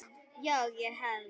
Já, ég hélt.